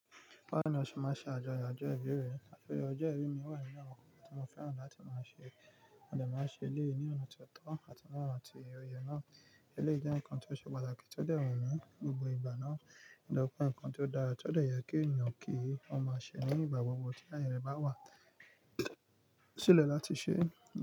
Bawo ni ó ṣe má ṣe àjọyọ̀ ọjọ́ ìbí rẹ? Ajoyọo ọjọ́ ìbí mi wà nínu awon nkan tí mo fẹ́ràn láti máa ṣe, mo dẹ̀ máa ṣe ilé ní ọ̀nà tó tọ́ àti mọ́ ọ̀nà tí o yẹ náà. Ilé jẹ́ nǹkan tó ṣe pàtàkì tó dẹ̀ wun mi ní gbogbo ìgbà náà, ni tori pe nǹkan tó dára tó dẹ̀ yẹ kí ènìyàn kí ó máa ṣẹ ní ìgbà gbogbo tí ayẹ e bá wà, yo Sílẹ̀ láti ṣe.